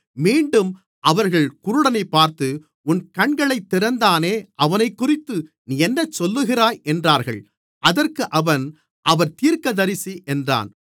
மீண்டும் அவர்கள் குருடனைப் பார்த்து உன் கண்களைத் திறந்தானே அவனைக்குறித்து நீ என்ன சொல்லுகிறாய் என்றார்கள் அதற்கு அவன் அவர் தீர்க்கதரிசி என்றான்